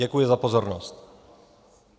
Děkuji za pozornost.